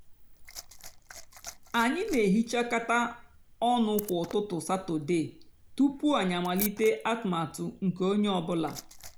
ányị nà-èhichákátá ónụ kwá ụtụtụ satọde túpú ányị àmálíté atụmatụ nkè ónyé ọ bụlà.